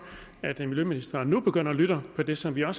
at miljøministeren nu begynder at lytte til det som vi har